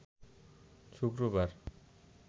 শুক্রবার